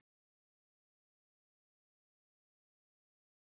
Ópin sátu föst í hálsinum á henni en sluppu út í hvíslingum.